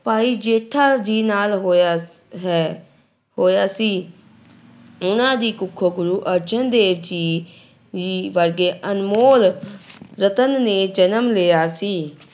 ਭਾਈ ਜੇਠਾ ਜੀ ਨਾਲ ਹੋਇਆ ਹੈ, ਹੋਇਆ ਸੀ ਉਹਨਾਂ ਦੀ ਕੁੱਖੋਂ ਗੁਰੂ ਅਰਜਨ ਦੇਵ ਜੀ ਜੀ ਵਰਗੇ ਅਨਮੋਲ ਰਤਨ ਨੇ ਜਨਮ ਲਿਆ ਸੀ।